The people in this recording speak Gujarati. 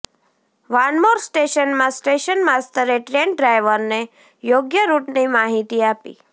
વાનમોર સ્ટેશનનાં સ્ટેશન માસ્તરે ટ્રેન ડ્રાઇવરને યોગ્ય રૂટની માહિતી આપી